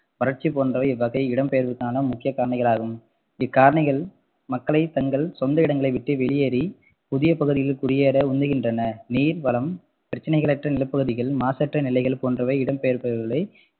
வறட்சி போன்றவை இவ்வகை இடம்பெயர்வுக்கான முக்கிய காரணிகளாகும் இக்காரணிகள் மக்களை தங்கள் சொந்த இடங்களை விட்டு வெளியேறி புதிய பகுதியில் குடியேற உந்துகின்றன நீர் வளம், பிரச்சனைகளற்ற நிலப்பகுதிகள், மாசற்ற நிலைகள் போன்றவை இடம்பெயர்பவர்களை